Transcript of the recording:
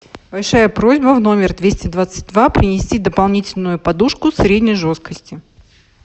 большая просьба в номер двести двадцать два принести дополнительную подушку средней жесткости